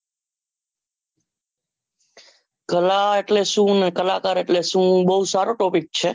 કલા એટલે શું ને કલાકાર એટલે શું બહુ સારું topic છે